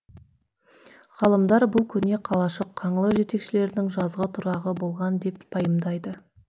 ғалымдар бұл көне қалашық қаңлы жетекшілерінің жазғы тұрағы болған деп пайымдайды